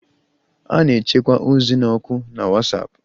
A na-echekwa ozi na oku na WhatsApp